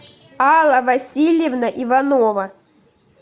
алла васильевна иванова